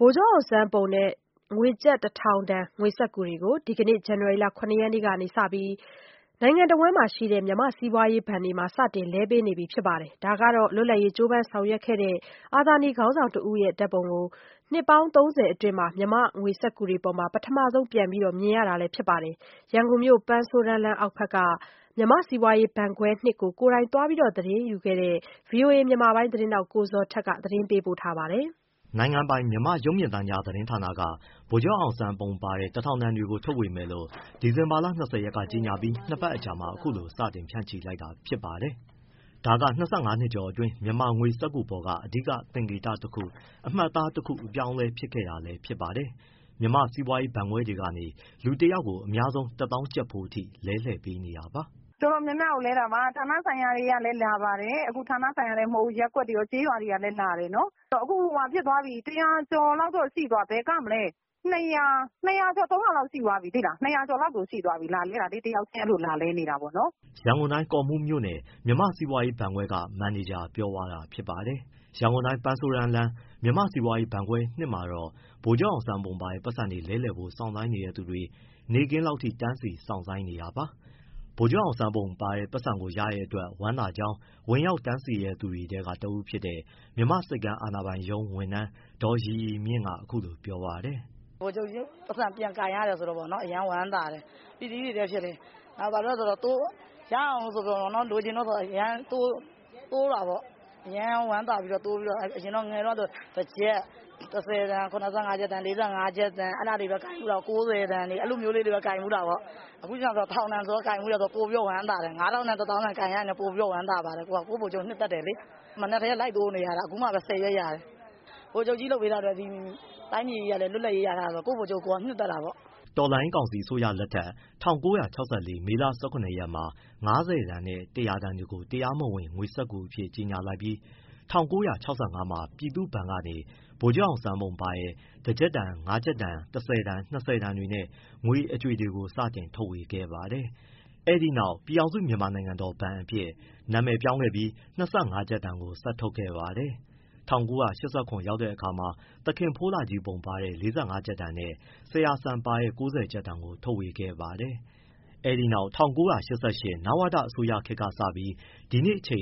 ဗိုလ်ချုပ်အောင်ဆန်းပုံနဲ့ ၁၀၀၀ တန်ငွေစက္ကူတွေကို ဒီကနေ့ ဇန်နဝါရီ ၇ရက်ကစပြီး တနိုင်ငံလုံးက မြန်မာ့စီးပွားရေးဘဏ်တွေမှာ စတင်လဲပေးနေပြီ ဖြစ်ပါတယ်။ ဒါက အနှစ် ၃၀ အတွင်း မြန်မာငွေစက္ကူတွေပေါ်မှာ လွတ်လပ်ရေးကြိုးပမ်းဆောင်ရွက်ခဲ့တဲ့ အာဇာနည်ခေါင်းဆောင်တဦးရဲ့ ပုံကို ပထမဆုံး ပြန်ပြီး မြင်ရတာလည်းဖြစ်ပါတယ်။ ရန်ကုန်မြို့ ပန်းဆိုးတန်းလမ်းအောက်ဘက်က မြန်မာ့စီးပွားရေးဘဏ်ခွဲ (၂) ကို သွားရောက်သတင်းယူခဲ့တဲ့ ဗွီအိုအေ မြန်မာပိုင်း သတင်းထောက် ကိုဇော်ထက်က သတင်း အပြည့်အစုံကိုပြောပြပေးမှာပါ။ နိုင်ငံပိုင် မြန်မာ့ရုပ်မြင်သံကြားသတင်းဌာနက ဗိုလ်ချုပ်အောင်ဆန်းပုံပါတဲ့ ၁၀၀၀ တန်တွေထုတ်ဝေမယ်လို့ ဒီဇင်လာ ၂၀ ကြေညာပြီး နှစ်ပတ်အကြာမှာ အခုလို စတင်ဖြန့်ချီလိုက်တာဖြစ်ပါတယ်။ ဒါက ၂၅နှစ်ကျော်အတွင်း မြန်မာငွေစက္ကူပေါ်က အဓိကသင်္ကေတတခု၊ အမှတ်အသားတခု အပြောင်းအလဲ ဖြစ်ခဲ့တာလည်း ဖြစ်ပါတယ်။ မြန်မာ့စီးပွားရေးဘဏ်ခွဲတွေကနေ လူတယောက်ကို အများဆုံး ၁သောင်းကျပ်ဖိုးအထိ လဲလှယ်ပေးနေတာပါ။ “ တော်တော်များများကိုလဲတာပါ ဌာနဆိုင်ရာတွေကလည်း လာပါတယ်။ အခုဌာနဆိုင်ရာတင် မဟုတ်ဘူး ရပ်ကွက်တွေရော ကျေးရွာတွေရော လာတယ်နော်။ အခုတရာကျော် ဘယ်ကမလဲ ၂၀၀ ကျော် ၃၀၀ လောက်ရှိသွားပြီ တယောက်ချင်းလာလဲနေကြတာ။” ရန်ကုန်တိုင်း၊ ကော့မှူးမြို့နယ် မြန်မာ့စီးပွားရေးဘဏ်ခွဲက မန်နေဂျာပြောပြသွားတာဖြစ်ပါတယ်။ ရန်ကုန်တိုင်း၊ ပန်းဆိုးတန်းလမ်း မြန်မာ့စီးပွားရေးဘဏ်ခွဲ (၂) မှာတော့ ဗိုလ်ချုပ်ပုံပါတဲ့ ပိုက်ဆံလဲလှယ်ဖို့ စောင့်ဆိုင်းနေတဲ့သူတွေ နေ့ခင်းလောက်ထိ တန်းစီ စောင့်ဆိုင်းနေတာပါ။ ဗိုလ်ချုပ်ပုံပါတဲ့ ပိုက်ဆံကို ရတဲ့အတွက် ဝမ်းသာကြောင်း ဝင်ရောက်တန်းစီသူတွေထဲ တဦးဖြစ်တဲ့ မြန်မာ့ဆိပ်ကမ်း အာဏာပိုင်ရုံး ဝန်ထမ်း ဒေါ်ရီရီမြင့်ကအခုလိုပြောပါတယ်။ “ ဗိုလ်ချုပ်ပိုက်ဆံပြန်ကိုင်ရတယ်ဆိုတော့ အရမ်းဝမ်းသာတယ်။ ပီတိတွေလည်းဖြစ်တယ်။ ဘာလို့ဆို ရအောင်လို့ဆိုပြီး အရမ်းတိုးတာပေါ့။ ငယ်ငယ်တုန်းကဆို တကျပ်၊ တဆယ်တန်၊ ၇၅ကျပ်တန်၊ ၄၅ကျပ်တန် အဲဒါတွေပဲကိုင်ဖူးတာ ၉၀တန်။ အခု တထောင်တန်ဆိုတော့ ပိုပြီးလည်း ဝမ်းသာတယ်။ ၅၀၀၀ တန်၊ ၁၀၀၀၀ တန်ကိုင်ရရင် ပိုပြီးဝမ်းသာတယ်။ ကိုယ့်ဗိုလ်ချုပ်ကို နှစ်သက်တယ်လေ။ မနက်ကတည်းက လိုက်တိုးနေတာ အခုမှ ဆယ်ရွက်ရတယ်။ ဗိုလ်ချုပ်ကြီးလုပ်ပေးထားလို့ တိုင်းပြည်ကြီးလွတ်လပ်ရေး ရထားတော့ ကိုယ့်ဗိုလ်ချုပ် နှစ်သက်တာပေါ့။” တော်လှန်ရေးကောင်စီအစိုးရလက်ထက် ၁၉၆၄ မေလ ၁၇ရက်မှာ ၅၀တန် နဲ့ ၁၀၀တန်တွေကို တရားမဝင် ငွေစက္ကူအဖြစ် ကြေညာလိုက်ပြီး ၁၉၆၅မှာ ပြည်သူ့ဘဏ်ကနေ ဗိုလ်ချုပ်အောင်ဆန်းပုံပါတဲ့ ၁၊ ၅၊ ၁၀၊ ၂၀ တန်နဲ့ ငွေအကြွေတွေကို စတင်ထုတ်ဝေခဲ့ပါတယ်။ အဲဒီနောက် ပြည်ထောင်စု မြန်မာနိုင်ငံတော် ဘဏ်အဖြစ် နာမည်ပြောင်းခဲ့ပြီး ၂၅ကျပ်တန်ကို ဆက်ထုတ်ခဲ့ပါတယ်။ ၁၉၈၇ ရောက်တဲ့အခါမှာ သခင်ဖိုးလှကြီးပုံပါတဲ့ ၄၅ ကျပ်တန်နဲ့၊ ဆရာစံပါတဲ့ ၉၀ကျပ်တန်ကို ထုတ်ဝေခဲ့ပါတယ်။ အဲဒီနောက် ၁၉၈၈ နဝတ အစိုးရခေတ်ကစပြီး ဒီနေ့အထိ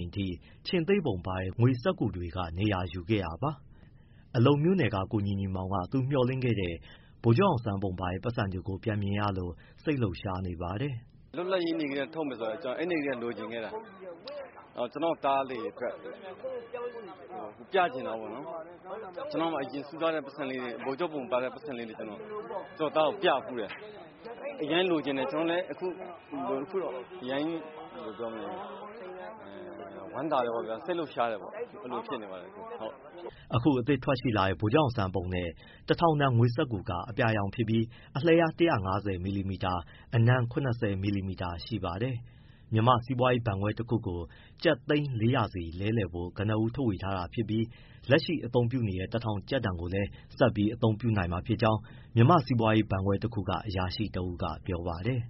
ခြေင်္သေ့ပုံပါတဲ့ ငွေစက္ကူတွေက နေရာယူခဲ့တာပါ။ အလုံမြို့နယ်က ကိုညီညီမောင် က သူ့မျှော်လင့်ခဲ့တဲ့ ဗိုလ်ချုပ်ပုံပါတဲ့ ပိုက်ဆံတွေပြန်မြင်ရလို့ စိတ်လှုပ်ရှားနေပါတယ်။ “ လွတ်လပ်ရေးနေ့ကတည်းက ထုတ်မယ်ဆိုလို့ အဲဒီကတည်းက လိုချင်ခဲ့တာ၊ ကျနော့်သားလေးအတွက် ပြချင်တာပေါ့နော်။ အရင်တုန်းက စုထားတဲ့ ဗိုလ်ချုပ်ပုံပါတဲ့ ပိုက်ဆံလေးတွေ ကျနော့သားကိုပြဖူးတယ်၊ အရမ်းလိုချင်တယ်။ အခုအရမ်းဝမ်းသာတယ်၊ စိတ်လှုပ်ရှားတယ်ပေါ့၊ အဲဒီလို ဖြစ်နေပါတယ်။” အခုအသစ်ထွက်ရှိလာတဲ့ ဗိုလ်ချုပ်အောင်ဆန်းပုံနဲ့ ၁၀၀၀ တန်ငွေစက္ကူက အပြာရောင်ဖြစ်ပြီး အလျား ၁၅၀ မီလီမီတာ၊ အနံ ၇၀ မီလီမီတာရှိပါတယ်။ မြန်မာ့စီးပွားရေးဘဏ်ခွဲတခုကို ကျပ်သိန်း ၄၀၀ စီလဲလှယ်ဖို့ ကနဦးထုတ်ပေးထားပြီး လက်ရှိအသုံးပြုနေတဲ့ တထောင်တန်ကိုလည်း ဆက်ပြီး အသုံးပြုနိုင်မှာဖြစ်ကြောင်း မြန်မာ့စီးပွားရေးဘဏ်ခွဲတခုက အရာရှိတဦးကပြောပါတယ်